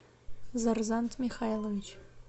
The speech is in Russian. зарзант михайлович